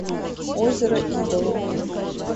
озеро идолов